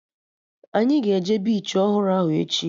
Anyị ga-eje bichi ọhụrụ ahụ echi